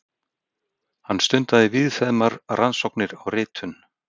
Hann stundaði víðfeðmar rannsóknir á ritun